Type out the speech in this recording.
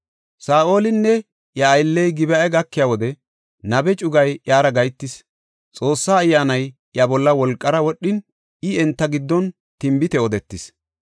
Saa7olinne iya aylley Gib7a gakiya wode nabe cugay iyara gahetis. Xoossa Ayyaanay iya bolla wolqara wodhin I enta giddon tinbite odetis.